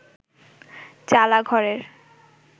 চালা ঘরের